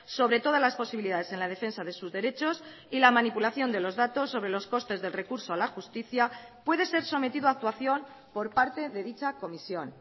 sobre todas las posibilidades en la defensa de sus derechos y la manipulación de los datos sobre los costes del recurso a la justicia puede ser sometido a actuación por parte de dicha comisión